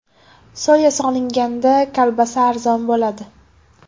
Soya solinganda kolbasa arzon bo‘ladi.